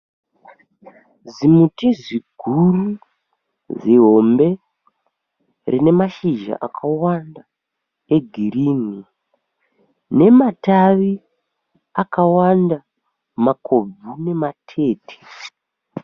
Zimuti ziguru zihombe rine mashizha akawanda e girinhi. Nematavi akawanda makobvu nematete.